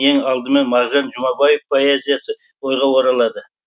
ең алдымен мағжан жұмабаев поэзиясы ойға оралады